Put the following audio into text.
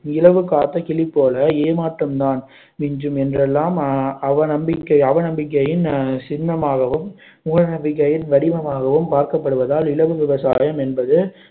இலவு காத்த கிளி போல ஏமாற்றம்தான் மிஞ்சும் என்றெல்லாம் அவ நம்பிக்கை அவ நம்பிக்கையின் அஹ் சின்னமாகவும் மூட நம்பிக்கையின் வடிவமாகவும் பார்க்கப்படுவதால் இலவு விவசாயம் என்பது